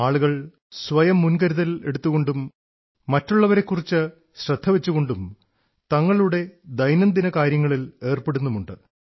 ആളുകൾ സ്വയം മുൻകരുതലെടുത്തുകൊണ്ടും മറ്റുള്ളവരെക്കുറിച്ച് ശ്രദ്ധ വച്ചുകൊണ്ടും തങ്ങളുടെ ദൈനദിനകാര്യങ്ങളിൽ ഏർപ്പെടുന്നുമുണ്ട്